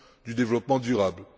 du développement durable.